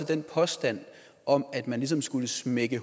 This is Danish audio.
den påstand om at man ligesom skulle smække